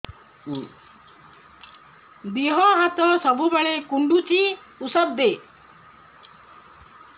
ଦିହ ହାତ ସବୁବେଳେ କୁଣ୍ଡୁଚି ଉଷ୍ଧ ଦେ